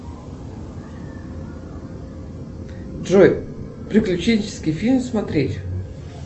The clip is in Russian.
джой приключенческий фильм смотреть